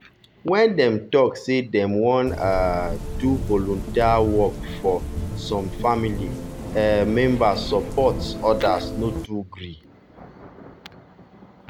when dem talk say dem wan um do volunteer work first some family um members support others no too gree.